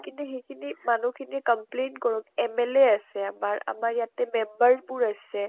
কিনে সিখিনি মানুহ খিনি complaint কৰক। MLA আছে আমাৰ, আমাৰ ইয়াতে member বোৰ আছে